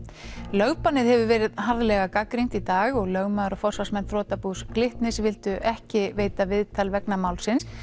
lögbannið hefur verið harðlega gagnrýnt í dag og lögmaður og forsvarsmenn þrotabús Glitnis vildu ekki veita viðtal vegna málsins